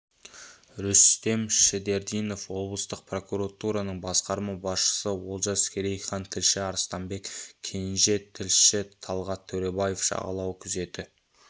рүстем шідердинов облыстық прокуратураның басқарма басшысы олжас керейхан тілші арыстанбек кенже тілші талғат төребаев жағалау күзеті